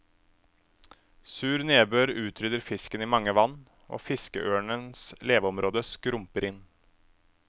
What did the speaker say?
Sur nedbør utrydder fisken i mange vann, og fiskeørnens leveområde skrumper inn.